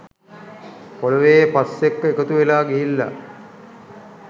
පොළොවේ පස් එක්ක එකතු වෙලා ගිහිල්ල